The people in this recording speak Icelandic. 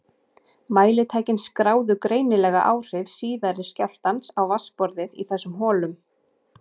Mælitækin skráðu greinilega áhrif síðari skjálftans á vatnsborðið í þessum holum.